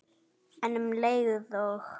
En um leið og